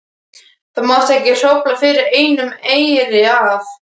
Það mátti ekki hrófla við einum eyri af